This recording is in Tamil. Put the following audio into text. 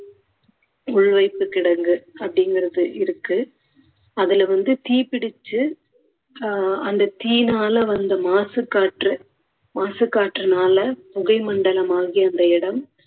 உள்வைப்பு கிடங்கு அப்படிங்குறது இருக்கு. அதுல வந்து தீப்பிடிச்சு ஆஹ் அந்த தீயினால வந்த மாசுக்காற்று மாசுக்காற்றுனால புகை மண்டலமாகி அந்த இடம்